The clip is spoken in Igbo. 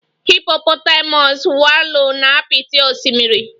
Hippopotamus wallow na apịtị osimiri.